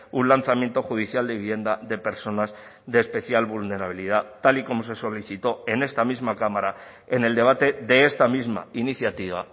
un lanzamiento judicial de vivienda de personas de especial vulnerabilidad tal y como se solicitó en esta misma cámara en el debate de esta misma iniciativa